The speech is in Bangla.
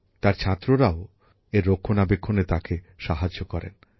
তাঁর ছাত্ররাও এর রক্ষণাবেক্ষণে তাঁকে সাহায্য করেন